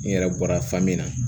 N yɛrɛ bɔra fan min na